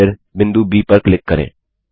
और फिर बिंदु ब पर क्लिक करें